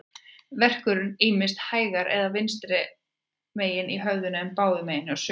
Verkurinn er ýmist hægra eða vinstra megin í höfðinu, en báðum megin hjá sumum.